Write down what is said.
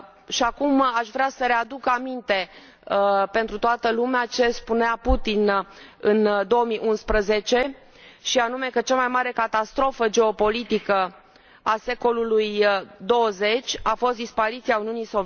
Și acum aș vrea să readuc aminte pentru toată lumea ce spunea Putin în 2011, și anume că cea mai mare catastrofă geopolitică a secolului XX